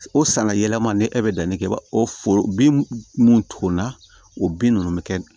O sanga yɛlɛma ni e bɛ danni kɛ i b'a o foro bin mun tonna o bin ninnu bɛ kɛ